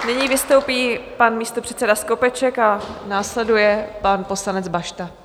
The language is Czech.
Nyní vystoupí pan místopředseda Skopeček a následuje pan poslanec Bašta.